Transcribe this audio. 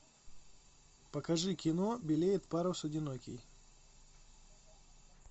покажи кино белеет парус одинокий